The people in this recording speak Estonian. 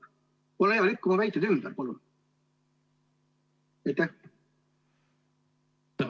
Ole hea, lükka mu väited ümber, palun!